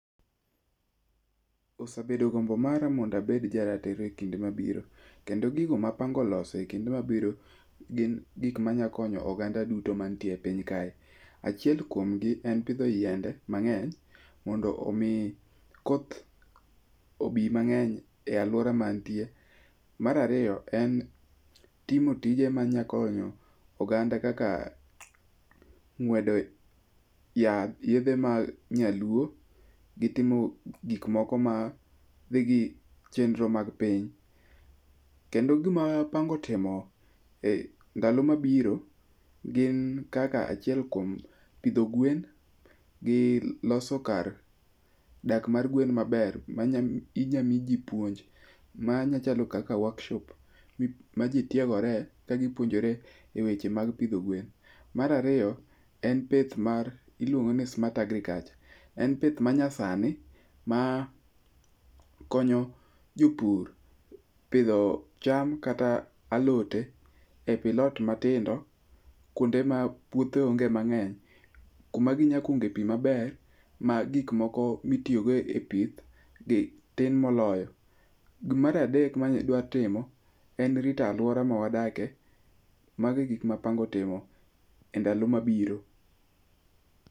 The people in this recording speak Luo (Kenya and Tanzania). Osabedo gombo mara mondabed jaratiro e kinde mabiro, kendo gigo mapango loso e kinde mabiro gin gik manyakonyo oganda duto mantie e piny kae. Achiel kuomgi en pidho yiende mang'eny mondo omi koth obi mang'eny e alwora mantie. Marariyo, en timo tije manyakonyo oganda kaka ng'wedo yath, yedhe mag nyaluo gi timo gikmoko ma dhi gi chenro mag piny. Kendo gima apango timo e ndalo mabiro, gin kaka achiel kuom pidho gwen gi loso kar dak mar gwen maber minyamiji puonj. Machalo kaka workshop, ma ji tiegore kagipuonjore e weche mag pidho gwen. Marariyo, en pith mar iluongo ni smart agriculture. En pith manyasani ma konyo jopur pidho cham kata alote e pilot matindo kuonde ma puothe onge mang'eny, kuma ginyakunge pi maber ma gikmoko mitiyogo e pith tin moloyo. Gimaradek madwa timo, en rito alwora mawadake, magegik mapango timo e ndalo mabiro.